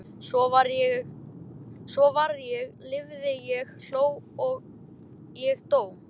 Svo var ég lifði ég hló ég dó